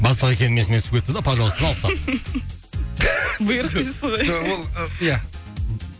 бастық екенім есіме түсіп кетті де пожалуйстаны алып тастадым бұйрық дейсіз ғой ол ы иә